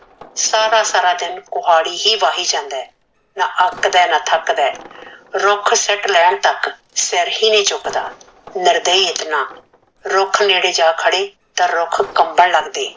ਸਾਰਾ ਸਾਰਾ ਦਿਨ ਕੁਹਾੜੀ ਹੀ ਵਾਹੀ ਜਾਂਦਾ ਆ ਨਾ ਅਕ ਦਾ ਨਾ ਥਕਦਾ ਰੁਖ ਸੀਟ ਲੇਨ ਤਕ ਸਿਰ ਹੀ ਨਈ ਚੁਕਦਾ ਨਿਰਦਈ ਇਤਨਾ ਰੁਖ ਨੇੜੇ ਜਾ ਖੜੇ ਤਾ ਰੁਖ ਕਬਨ ਲਗਦੇ